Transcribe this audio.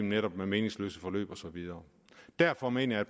netop meningsløse forløb og så videre og derfor mener jeg